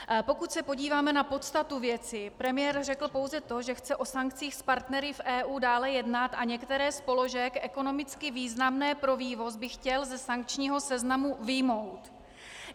Pokud se podíváme na podstatu věci, premiér řekl pouze to, že chce o sankcích s partnery v EU dále jednat a některé z položek ekonomicky významných pro vývoz by chtěl ze sankčního seznamu vyjmout.